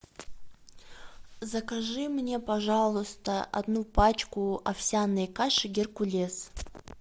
закажи мне пожалуйста одну пачку овсяной каши геркулес